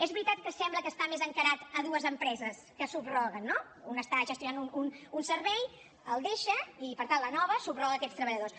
és veritat que sembla que està més encarat a dues empreses que subroguen no una està gestionant un servei el deixa i per tant la nova subroga aquests treballadors